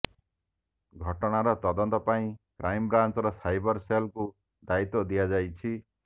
ଘଟଣାର ତଦନ୍ତ ପାଇଁ କ୍ରାଇମବ୍ରାଞ୍ଚର ସାଇବର ସେଲ୍କୁ ଦାୟିତ୍ୱ ଦିଆଯାଇଛି